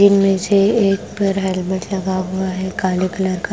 इसमे से एक पर हेलमेट लगा हुआ है काले कलर का।